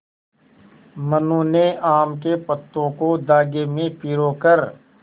मनु ने आम के पत्तों को धागे में पिरो कर